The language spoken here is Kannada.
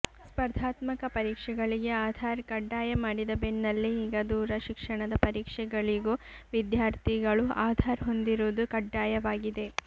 ಸ್ಪರ್ಧಾತ್ಮಕ ಪರೀಕ್ಷೆಗಳಿಗೆ ಆಧಾರ್ ಕಡ್ಡಾಯ ಮಾಡಿದ ಬೆನ್ನಲ್ಲೇ ಈಗ ದೂರ ಶಿಕ್ಷಣದ ಪರೀಕ್ಷೆಗಳಿಗೂ ವಿದ್ಯಾರ್ಥಿಗಳು ಆಧಾರ್ ಹೊಂದಿರುವುದು ಕಡ್ಡಾಯವಾಗಿದೆ